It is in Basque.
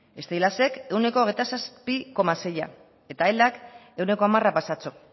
steilasek ehuneko hogeita zazpi koma seia eta elak ehuneko hamar pasatxo